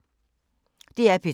DR P3